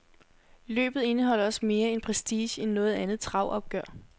Løbet indeholder også mere prestige end noget andet travopgør.